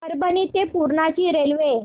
परभणी ते पूर्णा ची रेल्वे